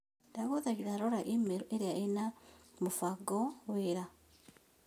Ndagũthaitha Rora i-mīrū ĩria ĩna mũbango wĩra